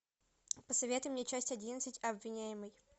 посоветуй мне часть одиннадцать обвиняемый